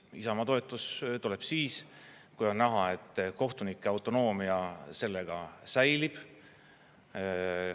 Isamaa toetus tuleb siis, kui on näha, et kohtunike autonoomia sellega säilib.